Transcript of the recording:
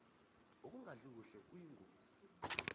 ukungadli kuhle kuyingozi